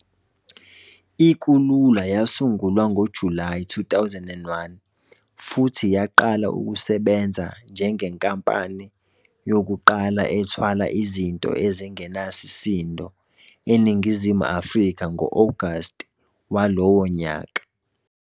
I-Kulula yasungulwa ngoJulayi 2001 futhi yaqala ukusebenza njengenkampani yokuqala ethwala izinto ezingenasidingo eNingizimu Afrika ngo-August walowo nyaka.